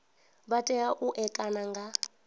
vha tea u ṋekana nga